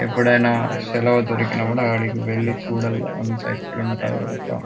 ఎప్పుడైనా సెలవు దొరికినప్పుడు అక్కడికి వెళ్ళి చూడాలి. అంత ఎట్లుంటదో అక్కడ.